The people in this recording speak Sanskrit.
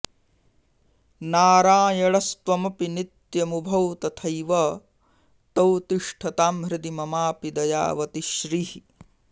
नारायणस्त्वमपि नित्यमुभौ तथैव तौ तिष्ठतां हृदि ममापि दयावति श्रीः